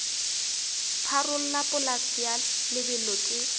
pharola polase ya lebelo ke